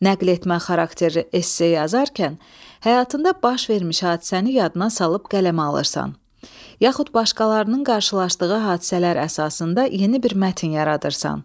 Nəql etmə xarakterli esse yazarkən həyatında baş vermiş hadisəni yadına salıb qələmə alırsan, yaxud başqalarının qarşılaşdığı hadisələr əsasında yeni bir mətn yaradırsan.